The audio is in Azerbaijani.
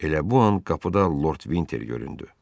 Elə bu an qapıda Lord Vinter göründü.